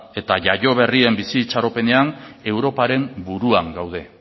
eta jaio berrien bizi itxaropenean europaren buruan gaude